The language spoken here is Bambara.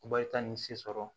Bayita nin se sɔrɔ